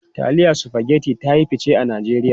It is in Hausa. Taliyan Spaghetti ta yi fice a Najeriya.